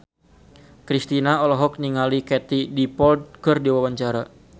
Kristina olohok ningali Katie Dippold keur diwawancara